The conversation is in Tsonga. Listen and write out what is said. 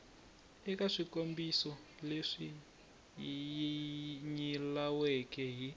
eka swikombiso leswi nyilaweke hi